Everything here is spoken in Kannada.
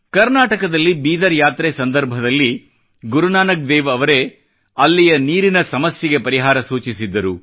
ಕರ್ನಾಟಕದಲ್ಲಿ ಬೀದರ್ ಯಾತ್ರೆ ಸಂದರ್ಭದಲ್ಲಿ ಗುರುನಾನಕ್ ದೇವ್ ರವರೇ ಅಲ್ಲಿಯ ನೀರಿನ ಸಮಸ್ಯೆಗೆ ಪರಿಹಾರ ಸೂಚಿಸಿದ್ದರು